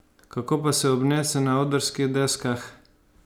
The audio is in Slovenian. Kako pa se obnese na odrskih deskah?